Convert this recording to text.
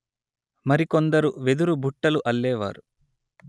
మరికొందరు వెదురు బుట్టలు అల్లేవారు